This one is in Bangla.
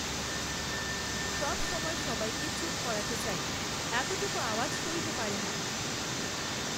সবসময় সবাইকে চুপ করাতে চায়, এতটুকু আওয়াজ সইতে পারে না।